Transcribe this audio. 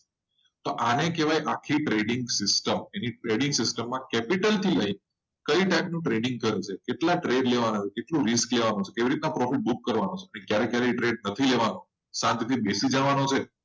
તો આને કહેવાય આખી trading system તમે capital થી લઈને કઈ type નું trading કર્યું? કેટલા ટ્રેક લેવાનો હોય? કેટલા દિવસ લેવાના હોય? કેટલા profit book કરવાના હોય? અને ક્યારે ક્યારે trade નથી લેવાનો શાંતિથી બેસી જવાનું છે.